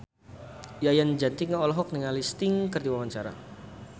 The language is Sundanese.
Yayan Jatnika olohok ningali Sting keur diwawancara